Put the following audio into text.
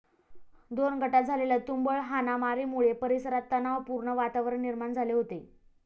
दोन गटांत झालेल्या तुंबळ हाणामारीमुळे परिसरात तणावपूर्ण वातावरण निर्माण झाले होते.